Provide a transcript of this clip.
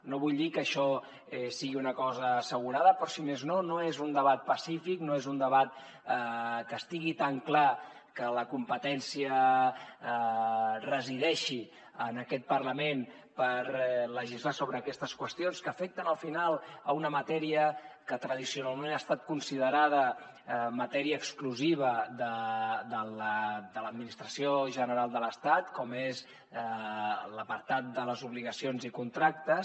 no vull dir que això sigui una cosa assegurada però si més no no és un debat pacífic no és un debat que estigui tan clar que la competència resideixi en aquest parlament per legislar sobre aquestes qüestions que afecten al final una matèria que tradicionalment ha estat considerada matèria exclusiva de l’administració general de l’estat com és l’apartat de les obligacions i contractes